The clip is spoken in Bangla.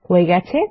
হয়ে গেছে